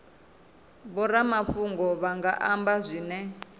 vhoramafhungo vha nga amba zwine